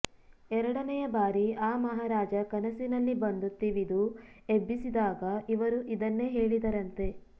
ಎರಡನೆಯ ಬಾರಿ ಆ ಮಹಾರಾಜ ಕನಸಿನಲ್ಲಿ ಬಂದು ತಿವಿದು ಎಬ್ಬಿಸಿದಾಗ ಇವರು ಇದನ್ನೇ ಹೇಳಿದರಂತೆ